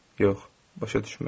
Yox, başa düşməz.